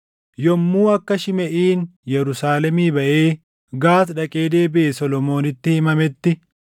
Yommuu akka Shimeʼiin Yerusaalemii baʼee Gaati dhaqee deebiʼe Solomoonitti himametti,